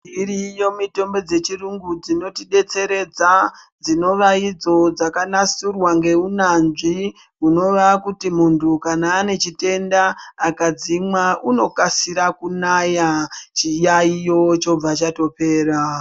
Dziriyo mitombo dzechirungu dzinotidetseredza, dzinova idzo dzakanasirwa neunyanzvi, munthu kana ane chitenda, akadzimwa, unokasira kunaya, chiyaiyo chobva chatopera.